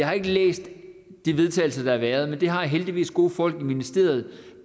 har læst de vedtagelser der har været men jeg har heldigvis gode folk i ministeriet